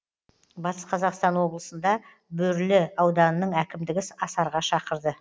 батыс қазақстан облысында бөрлі ауданының әкімдігі асарға шақырды